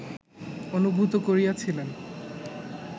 অনুভূত করিয়াছিলেন